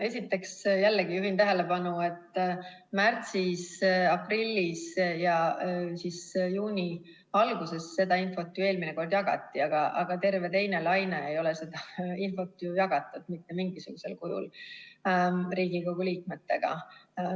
Esiteks, jällegi juhin tähelepanu, et märtsis-aprillis ja juuni alguses seda infot eelmine kord jagati, aga terve teise laine aja ei ole seda infot jagatud mitte mingisugusel kujul Riigikogu liikmetega.